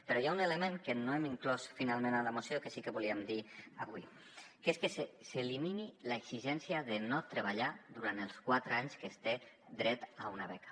però hi ha un element que no hem inclòs finalment a la moció que sí que volíem dir avui que és que s’elimini l’exigència de no treballar durant els quatre anys que es té dret a una beca